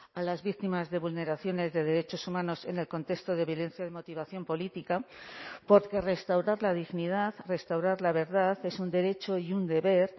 a las víctimas de vulneraciones de derechos humanos en el contexto de violencia de motivación política porque restaurar la dignidad restaurar la verdad es un derecho y un deber